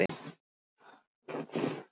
Hún vildi negla hann!